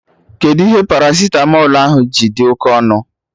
Kedụ ihe paracitamọl ji dị oké ọnụ